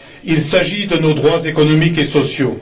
Il s'agit de nos droits économiques et sociaux.